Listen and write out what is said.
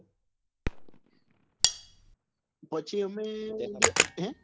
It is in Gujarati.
પછી અમે ગયા હેં?